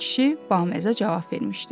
Kişi baməzə cavab vermişdi.